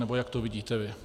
Nebo jak to vidíte vy?